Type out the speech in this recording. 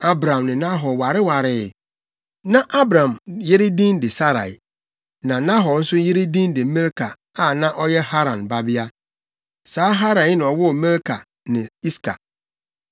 Abram ne Nahor warewaree. Na Abram yere din de Sarai, na Nahor nso yere din de Milka a na ɔyɛ Haran babea. Saa Haran yi na ɔwoo Milka ne Iska.